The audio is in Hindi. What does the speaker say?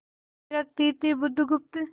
थिरकती थी बुधगुप्त